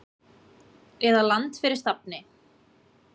eða Land fyrir stafni.